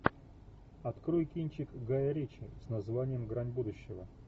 открой кинчик гая ричи с названием грань будущего